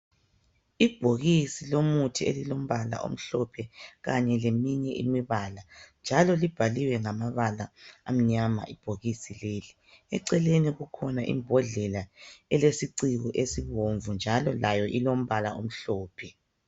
Ibhokisi lomuthi elilombala omhlophe kanye leminye imibala njalo libhaliwe ngamabala amnyama ibhokisi leli. Eceleni kukhona imbodlela elesiciko esibomvu njalo layo ilombala omhlophe.